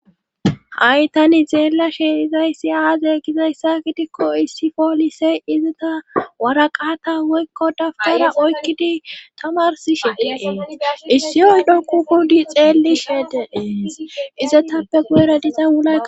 Ha"y tani xeella she izayssi aaze gizayssa gidikko issi poolisey izata waraqata woykko dabgara oykkidi tamarsishedeee issi yoy dhoku kudi xeellishedeee iza taappe guyera dixa ula